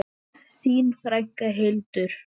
Þín frænka, Hildur.